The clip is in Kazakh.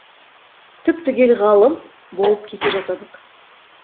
түп түгел ғалым болып кете жаздадық